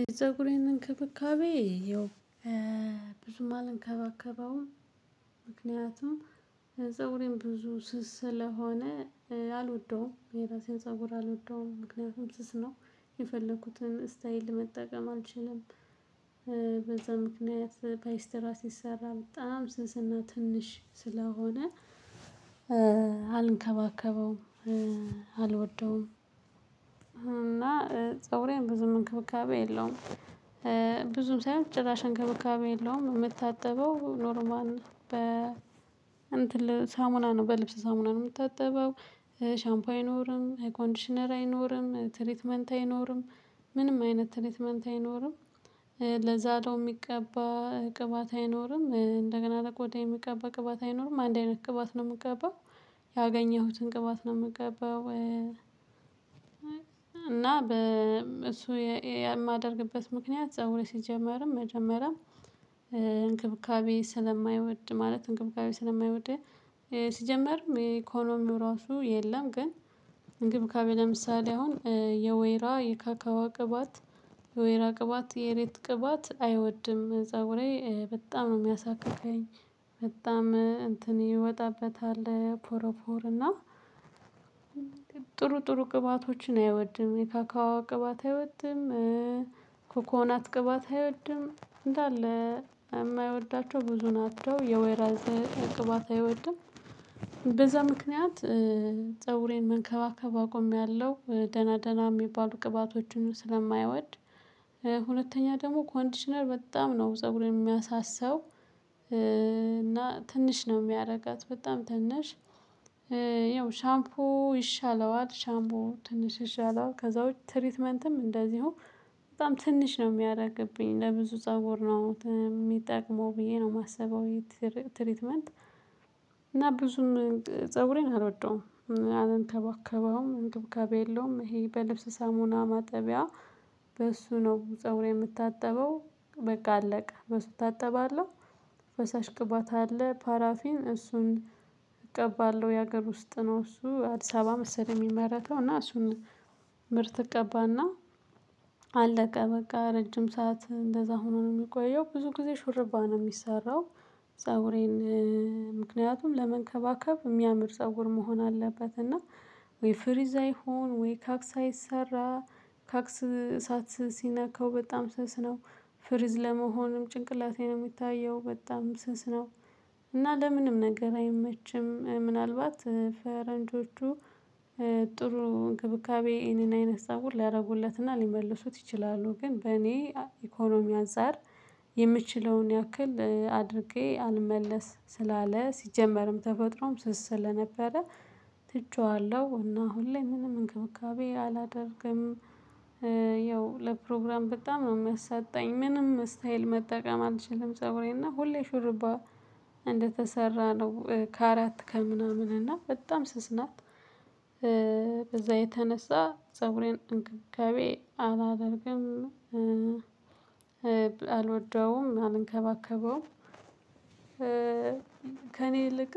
የፀጉሬን እንክብካቤ ያው ብዙም አልንከባከባውም። ምክንያቱም ፀጉሬን ብዙ ስስ ስለሆነ አልወደውም የራሴን ፀጉር አልወደውም ምክንያቱም ስስ ነው የፈለኩትን ስታይል መጠቀም አልችልም። በዛ ምክንያት ፓይስተራ ሲሰራ በጣም ስስና ትንሽ ስለሆነ አልንከባከበውም። አልወደውም እና ፀጉሬ ብዙም እንክብካቤ የለውም። ብዙም ሳይሆን ጭራሽ እንክብካቤ የለውም የምታጠበው ኖርል በ ሳሙና ነው በልብስ ሳሙና ነው የምታጠበው ሻምፓይ አይኖርም ኮንዲሽነር አይኖርም ትሪትመንት አይኖርም ምንም አይነት ትሪትመንት አይኖርም። ለዛለው የሚቀባ ቅባት አይኖርም እንደገና ለቆዳ የሚቀባ ቅባት አይኖርም አንድ አይነት ቅባት ነው የምቀባው ያገኘሁትን ቅባት ነው የምቀባው። እና በ እሱ የማደርግበት ምክንያት ፀጉሬ ሲጀመርም መጀመሪያም እንክብካቤ ስለማይወድ ማለት እንክብካቤ ስለማይወድ ሲጀመር የኢኮኖሚው ራሱ የለም። ግን እንክብካቤ ለምሳሌ አሁን የወይራ የካካዋ ቅባት የወይራ ቅባት የሬት ቅባት አይወድም ፀጉሬ በጣም ነው የሚያሳክከኝ። በጣም እንትን ይወጣበታል ፖሮፖር እና ጥሩ ጥሩ ቅባቶችን አይወድም የካካዋ ቅባት አይወድም። ኮኮናት ቅባት አይወድም እንዳለ የማይወዳቸው ብዙን አጥተው የወይራዝ ቅባት አይወድም በዛ ምክንያት ፀጉሬን መንከባከብ አቆምያለሁ ደህና ደህና የሚባሉ ቅባቶችን ስለማይወድ። ሁለተኛ ደግሞ ኮንዲሽነር በጣም ነው ፀጉርን የሚያሳሳው እና ትንሽ ነው የሚያደርጋት በጣም ትንሽ። ያው ሻምፑ ይሻለዋል ሻምፖ ትንሽ ይሻለዋል ከዛ ውጪ ትሪትመንትም እንደዚሁ በጣም ትንሽ ነው የሚያደርግብኝ ለብዙ ፀጉር ነው የሚጠቅመው ብዬ ነው የማስበው። ትሪትመንት እና ብዙም ፀጉሬን አልወደውም። አልንከባከበውም እንትን ከቤሎም ይሄ በልብስ ሳሙና ማጠቢያ በእሱ ነው ፀጉሬን የምታጠበው በቃ አለቀ በሱ እታጠባለሁ። ፈሳሽ ቅባት አለ ፓራፊን እሱን እቀባለሁ የሀገር ውስጥ ነው እሱ አዲስ አበባ መሰለኝ የሚመረተው እና እሱን ምርት እቀባና። አለቀ በቃ ረጅም ሰዓት እንደዛ ሆኖ ነው የሚቆየው ብዙ ጊዜ ሹርባ ነው የሚሰራው። ፀጉሬን ምክንያቱም ለመንከባከብ የሚያምር ፀጉር መሆን አለበት እና ወይ ፍሪዛ ይሁን ወይ ካክሳ አይሰራ ካክስ እሳት ሲነካው በጣም ስስ ነው ፍሪዝ ለመሆንም ጭንቅላቴ ነው የሚታየው በጣም ስስ ነው። እና ለምንም ነገር አይመችም ምናልባት ፈረንጆቹ ጥሩ እንክብካቤ ይሄንን አይነት ፀጉር ሊያደርጉለትና ሊመልሱት ይችላሉ ግን እኔ በኢኮኖሚ አንፃር የምችለውን ያክል አድርጌ አልመለስ ስላለ ሲጀመርም ተፈጥሮም ስስ ስለነበረ ትቸዋለሁ እና ሁሌ ምንም እንክብካቤ አላደርግም። ያው ለፕሮግራም በጣም ነው የሚያሳጣኝ ምንም ስታይል መጠቀም አልችልም ፀጉሬና ሁሌ ሹርባ እንደተሰራ ነው ከአራት ከምናምን እና በጣም ስስ ናት። በዛ የተነሳ ፀጉሬን እንክብካቤ ገቤ አላደርግም አልወደውም አልንከባከበውም። ከእኔ ልክ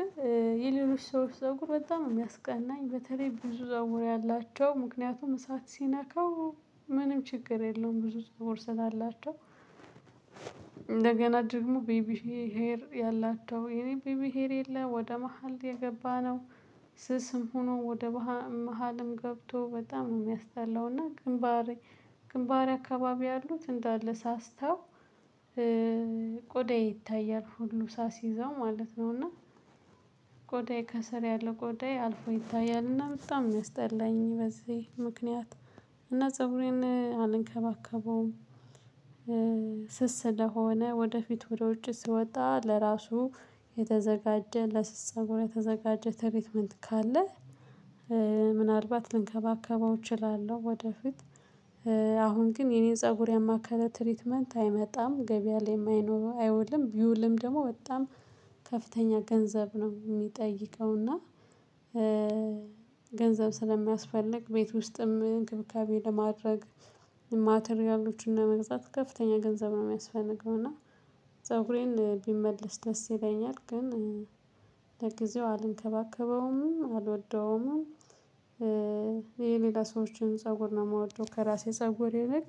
የሌሎች ሰዎች ፀጉር በጣም የሚያስቀናኝ በተለይ ብዙ ፀጉር ያላቸው ምክንያቱም እሳት ሲነካው ምንም ችግር የለውም ብዙ ፀጉር ስላላቸው። እንደገና ደግሞ ቤቢ ሄር ያላቸው የኔ ቤቢ ሄር የለም ወደ መሃል የገባነው ስስም ሆኖ ወደ መሃልም ገብቶ በጣም ነው የሚያስጣላው እና ግንባሬ ግንባሬ አካባቢ ያሉት እንዳለ ሳስተው ቆዳዬ ይታያል ሁሉ ሳስይዘው ማለት ነው እና። ቆዳየ ከስር ያለ ቆዳየ አልፎ ይታያልና በጣም ነው የሚያስጠላኝ በዚህ ምክንያት እና ፀብሬን አልንከባከበውም። ስስ ስለሆነ ወደፊት ወደ ውጭ ሲወጣ ለራሱ የተዘጋጀ ለስስ ፀጉር የተዘጋጀ ትሪትመንት ካለ ምናልባት ልንከባከበው እችላለሁ። ወደፊት አሁን ግን የኔ ፀጉር ያማከለ ትሪትመንት አይመጣም ገበያ ላይ አይውልም ቢውልም ደግሞ በጣም ከፍተኛ ገንዘብ ነው የሚጠይቀው እና። ገንዘብ ስለሚያስፈልግ ቤት ውስጥም እንክብካቤ ለማድረግ ማተሪያሎችን ለመግዛት ከፍተኛ ገንዘብ ነው የሚያስፈልገው። እና ፀጉሬን ቢመልስ ደስ ይለኛል ግን ለጊዜው አልንከባከበውምም አልወደውም። የሌላ ሰዎችን ፀጉር ነው የምወደው ከራሴ ፀጉር የለም።